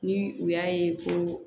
Ni u y'a ye ko